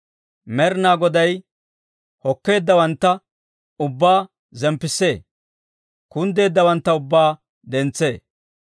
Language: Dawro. Med'inaa Goday hokkeeddawantta ubbaa zemppissee; kunddeeddawantta ubbaa dentsee.